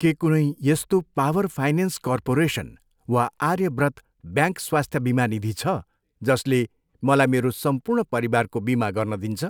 के कुनै यस्तो पावर फाइनेन्स कर्पोरेसन वा आर्यव्रत ब्याङ्क स्वास्थ्य बिमा निधी छ, जसले मलाई मेरो सम्पूर्ण परिवारको बिमा गर्न दिन्छ?